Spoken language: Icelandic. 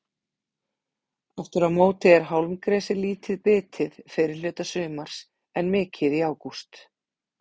Aftur á móti er hálmgresi lítið bitið fyrri hluta sumars en mikið í ágúst.